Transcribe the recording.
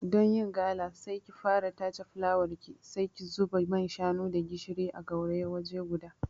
Don yin gala, sai ki fara tace fulawarki, sai ki zuba man shanu da gishiri a gauraya waje guda.